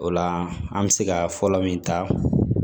O la an bɛ se ka fɔlɔ min ta